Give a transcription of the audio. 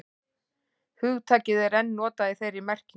hugtakið er enn notað í þeirri merkingu